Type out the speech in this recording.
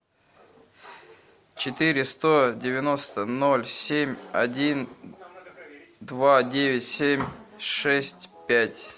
четыре сто девяносто ноль семь один два девять семь шесть пять